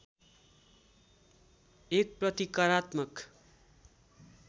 एक प्रतिकारात्मक